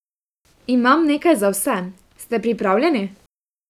Imam nekaj za vas, ste pripravljeni?